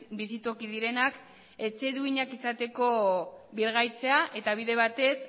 bizitoki direnak etxe duinak izateko birgaitzea eta bide batez